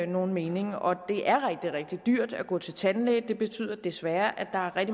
nogen mening og det er rigtig rigtig dyrt at gå til tandlæge det betyder desværre at